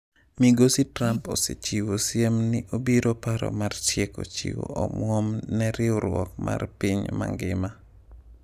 MigosiTrump osechiwo siem ni obiro paro mar tieko chiwo omwom ne riwruok mar Riwruok mar Piny Mangima.